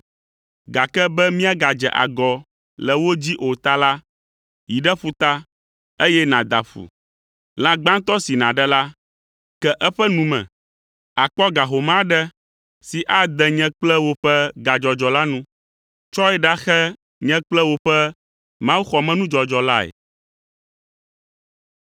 Gake be míagadze agɔ le wo dzi o ta la, yi ɖe ƒuta, eye nàda ƒu. Lã gbãtɔ si nàɖe la, ke eƒe nu me; àkpɔ ga home aɖe si ade nye kple wò ƒe gadzɔdzɔ la nu. Tsɔe ɖaxe nye kple wò ƒe mawuxɔmenudzɔdzɔ lae.